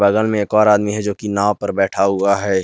रड़ में एक और आदमी है जो की नाव पर बैठा हुआ है।